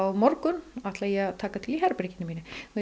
morgun ætla ég að taka til í herberginu mínu